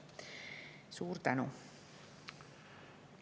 Suur tänu!